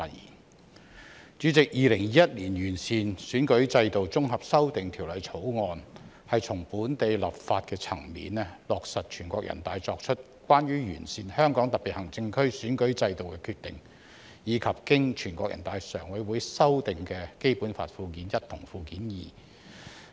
代理主席，《2021年完善選舉制度條例草案》旨在從本地立法層面落實《全國人民代表大會關於完善香港特別行政區選舉制度的決定》及經全國人民代表大會常務委員會修訂的《基本法》附件一和附件二。